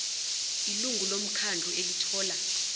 ilungu lomkhandlu elithola